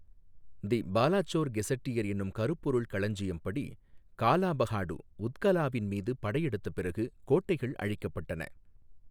தி Balasore gazetteer என்னும் கருப்பொருள் களஞ்சியம் படி, காலாபஹாடு உத்கலாவின் மீது படையெடுத்த பிறகு கோட்டைகள் அழிக்கப்பட்டன.